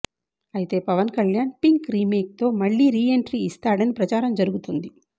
అయితే Pawan Kalyan Pink remake తో మళ్ళీ రీఎంట్రీ ఇస్తాడని ప్రచారం జరుగుతుంది